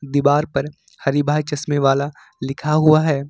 दीवार पर हरि भाई चश्मे वाला लिखा हुआ है।